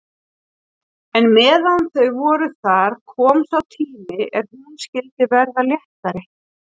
En meðan þau voru þar kom sá tími er hún skyldi verða léttari.